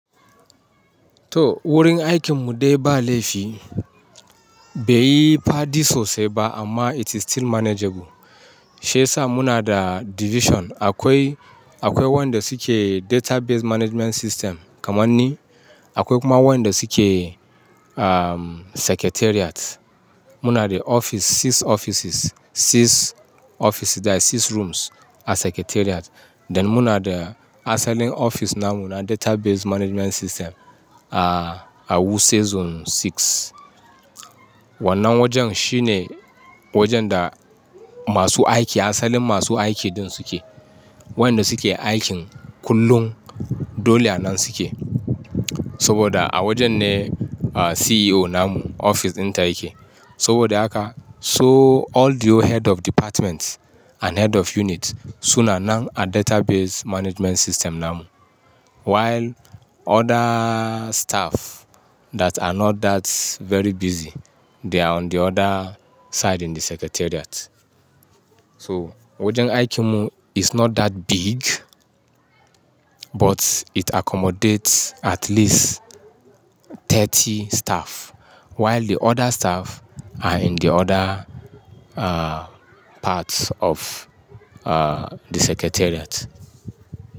To, wurin aikin mu dai ba laifi, bai yi fadi sosai ba amma it is still manageable. Shi yasa muna da division, akwai, akwai wanda suke database management system kaman ni, akwai kuma wanda suke, um, secretariat. Muna da office, six offices, six offices that is six rooms a secretariat. Dan muna da asalin office namu na database management system a, a Wuse Zone six. Wannan wajen shine wajen da masu aiki asalin masu aiki din suke. Waƴanda suke aikin kullum dole a nan suke. Saboda a wajen ne, ah, CEO namu office ɗinta yake. Saboda haka, so all the head of departments and head of units, su na nan a database management system namu. While other staff that are not that very busy, they are on the other side in the secretariat. So, wajen aikin mu is not that big, but it accommodates at least thirty staff. While the other staff are in the other, ah, parts of, ah, the secretariat.